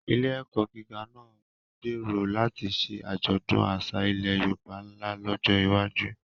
Ilé-ẹ̀kọ́ gíga náà gbèrò láti ṣe àjọ̀dún àṣà ilẹ̀ Yorùbá ńlá lọ́jọ́ iwájú.